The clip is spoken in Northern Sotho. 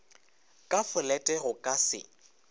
ka folete go ka se